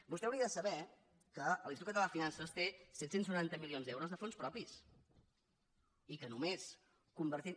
vostè hauria de saber que l’institut català de finances té set cents i noranta milions d’euros de fons propis i que només convertint